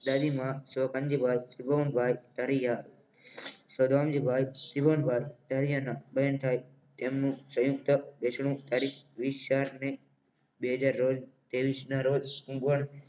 દાદીમા સ્વ ધનજીભાઈ ત્રિભોવનભાઈ ધરિયા બહેન થાય તેમનું સંયુક્ત બેસણું તારીખ વીસ ચાર ને બે હજાર ના રોજ ત્રેવીસ ના રોજ હુન્ગ્વન